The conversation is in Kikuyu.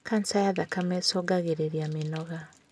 kaja ya thakame ĩcũngagĩrĩrĩa mĩnoga